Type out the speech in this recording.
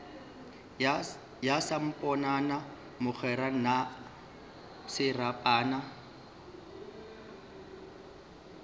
ya samponana mogwera na serapana